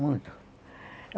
Muito.